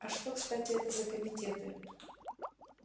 а что кстати это за комитеты